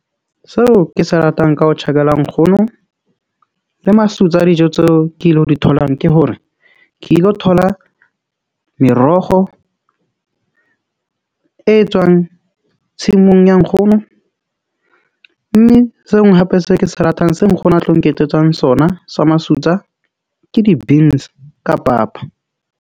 Seo ke se ratang ka ho tjhakela nkgono le masutsa a dijo tseo ke ilo di tholang, ke hore ke ilo thola merogo e tswang tshimong ya nkgono. Mme se nngwe hape seo ke se ratang se nkgono a tlo nketsetsang sona sa masutsa ke di-beans ka papa.